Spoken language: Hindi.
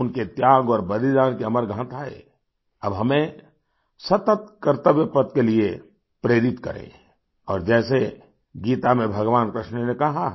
उनके त्याग और बलिदान की अमर गाथाएँ अब हमेंसतत कर्तव्य पथ के लिए प्रेरित करे और जैसे गीता में भगवान कृष्ण ने कहा है